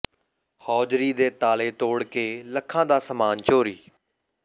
hosiery ਦੇ ਤਾਲੇ ਤੋੜ ਕੇ ਲੱਖਾਂ ਦਾ ਸਾਮਾਨ ਚੋਰੀ